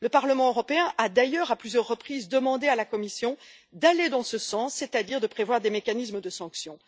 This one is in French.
Le Parlement européen a d'ailleurs, à plusieurs reprises, demandé à la Commission d'aller dans ce sens, c'est à dire de prévoir des mécanismes de sanction.